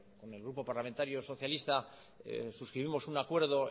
con el grupo parlamentario socialista suscribimos un acuerdo